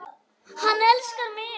Hann elskar mig